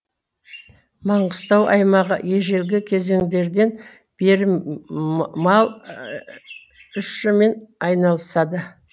маңғыстау аймағы ежелгі кезеңдерден бері мал ш мен айналысады